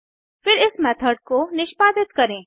फिर इस मेथड को निष्पादित करें